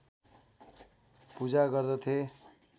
पूजा गर्दथे